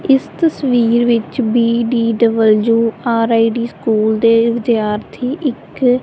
ਇਸ ਤਸਵੀਰ ਵਿੱਚ ਬੀ_ਡੀ_ਡਬਲਯੂ_ਆਰ_ਆਈ_ਡੀ ਸਕੂਲ ਦੇ ਵਿਦਿਆਰਥੀ ਇੱਕ --